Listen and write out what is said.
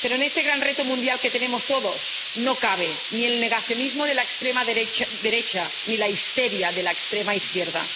Pero en este gran reto mundial que tenemos todos no caben ni el negacionismo de la extrema derecha ni la histeria de la extrema izquierda.